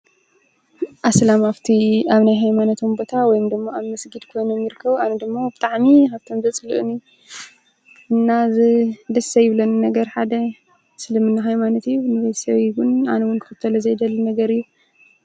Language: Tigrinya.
ኣስላም ኣብቲ ናይ ሃይማኖታዊ ቦታ ወይ ድማ ኣብ መስጊድ ኮይኖም ይርከቡ፤ ኣነ ደግሞ ብጣዕሚ ካብቶም ዘጽሉእኒ እና ደስ ዘይብለኒ ነገር ሓደ እስልምና ሃይማኖት እዩ ንቤተሰበይ ዉን ኣነ ዉን ክክተሎ ዘይደሊ ነገር እዩ።